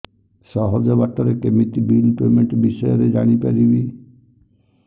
ସହଜ ବାଟ ରେ କେମିତି ବିଲ୍ ପେମେଣ୍ଟ ବିଷୟ ରେ ଜାଣି ପାରିବି